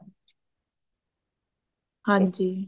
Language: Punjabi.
ਹਾਂਜੀ